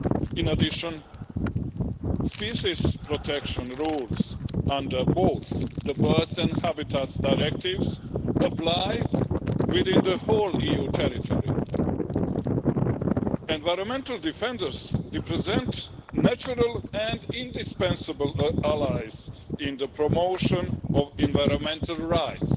In addition, species protection rules under both the Birds and Habitats Directives apply within the whole EU territory. Environmental defenders represent natural and indispensable allies in the promotion of environmental rights.